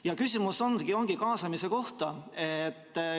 Ja küsimus ongi kaasamise kohta.